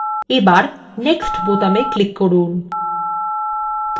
next বোতামে click করুন